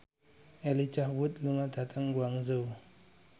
Elijah Wood lunga dhateng Guangzhou